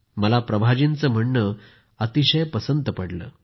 मला प्रभा जी यांचे म्हणणे अतिशय पसंत पडले